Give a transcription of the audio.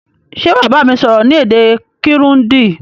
Sé wàá bámi sọ́rọ́ ni èdè Kirundi